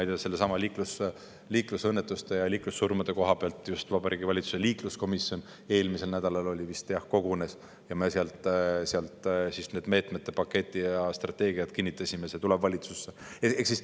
Liiklusõnnetuste ja liiklussurmade pärast Vabariigi Valitsuse liikluskomisjon eelmisel nädalal just kogunes, kinnitasime vastava meetmete paketi ja strateegiad, see tuleb valitsusse.